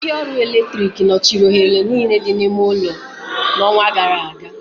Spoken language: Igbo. Ndị ọrụ eletrik nọchiri oghere niile dị n'ime ime ụlọ n'ọnwa gara aga